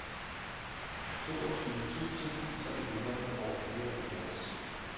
toogtyve tusind tre hundrede og fireoghalvtreds